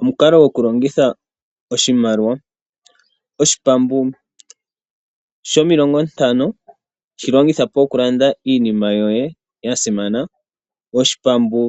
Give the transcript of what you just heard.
Omukalo gokulongitha oshimaliwa. Oshipambu shomilongontano shi longitha po okulanda iinima yoye ya simana, oshipambu